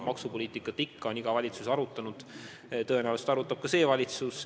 Maksupoliitikat on iga valitsus arutanud ja tõenäoliselt arutab ka see valitsus.